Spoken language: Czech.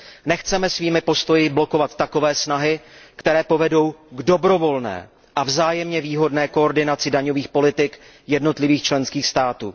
Nechceme svými postoji blokovat takové snahy, které povedou k dobrovolné a vzájemně výhodné koordinaci daňových politik jednotlivých členských států.